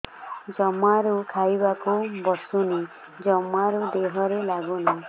ଜମାରୁ ଖାଇବାକୁ ବସୁନି ଜମାରୁ ଦେହରେ ଲାଗୁନି